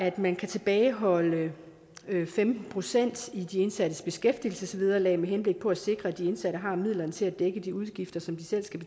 at man kan tilbageholde femten procent af de indsattes beskæftigelsesvederlag med henblik på at sikre at de indsatte har midlerne til at dække de udgifter som de selv skal